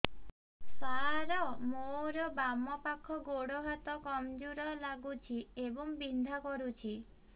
ସାର ମୋର ବାମ ପାଖ ଗୋଡ ହାତ କମଜୁର ଲାଗୁଛି ଏବଂ ବିନ୍ଧା କରୁଛି